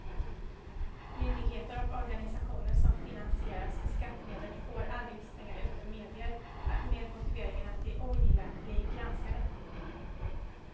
Myndigheter och organisationer som finansieras med skattemedel får aldrig stänga ute medier med motiveringen att de ogillar att bli granskade.